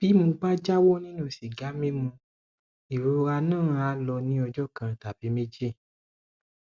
bí mo bá jáwọ nínú sìgá mímu ìrora náà á lọ ní ọjọ kan tàbí méjì